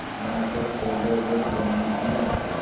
यहाँ पर सोलह घर बनने हैं